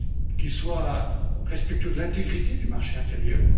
qui soit respectueux de l'intégrité du marché intérieur